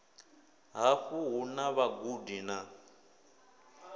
haṋu hu na vhagudi na